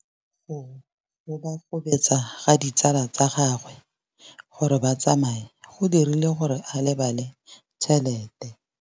Go gobagobetsa ga ditsala tsa gagwe, gore ba tsamaye go dirile gore a lebale tšhelete.